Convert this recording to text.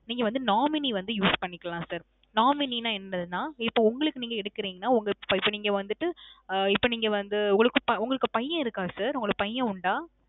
நீங்க வந்து nominee வந்து use பண்ணிக்கலாம் sir. nominee னா என்னதுனா, இப்போ உங்களுக்கு நீங்க எடுக்குறீங்கனா, உங்க, இப்போ நீங்க வந்துட்டு இப்போ நீங்க வந்து உங்களுக்கு உங்களுக்கு பய்யன் இருக்கா sir? உங்களுக்கு பய்யன் உண்டா?